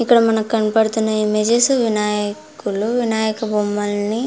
ఇక్కడ మనకు కనపడుతున్న ఇమేజ్ వినాయకుడు వినాయక బొమ్మల్ని --